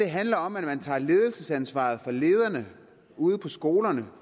handler om at man tager ledelsesansvaret fra lederne ude på skolerne